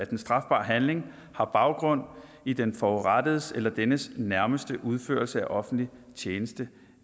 den strafbare handling har baggrund i den forurettedes eller dennes nærmestes udførelse af offentlig tjeneste